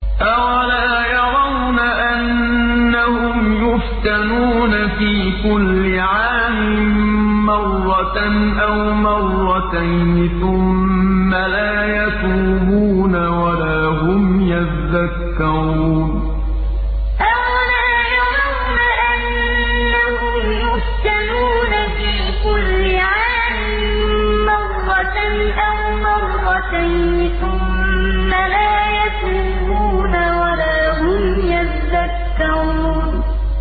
أَوَلَا يَرَوْنَ أَنَّهُمْ يُفْتَنُونَ فِي كُلِّ عَامٍ مَّرَّةً أَوْ مَرَّتَيْنِ ثُمَّ لَا يَتُوبُونَ وَلَا هُمْ يَذَّكَّرُونَ أَوَلَا يَرَوْنَ أَنَّهُمْ يُفْتَنُونَ فِي كُلِّ عَامٍ مَّرَّةً أَوْ مَرَّتَيْنِ ثُمَّ لَا يَتُوبُونَ وَلَا هُمْ يَذَّكَّرُونَ